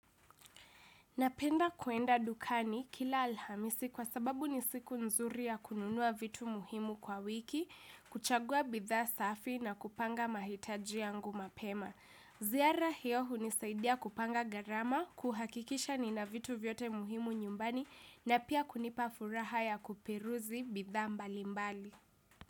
Napenda kuenda dukani kila Alhamisi kwa sababu ni siku nzuri ya kununua vitu muhimu kwa wiki kuchagua bidhaa safi na kupanga mahitaji yangu mapema. Ziara hiyo hunisaidia kupanga gharama, kuhakikisha nina vitu vyote muhimu nyumbani na pia kunipa furaha ya kuperuzi bidhaa mbalimbali.